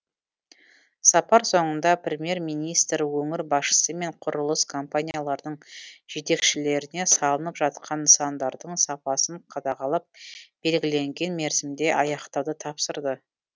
сапар соңында премьер министр өңір басшысы мен құрылыс компанияларының жетекшілеріне салынып жатқан нысандардың сапасын қадағалап белгіленген мерзімде аяқтауды тапсырды